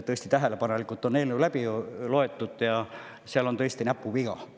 Tõesti, tähelepanelikult on eelnõu läbi loetud ja seal on tõesti näpuviga.